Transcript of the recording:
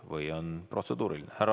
Või on protseduuriline?